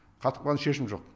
қатып қалған шешім жоқ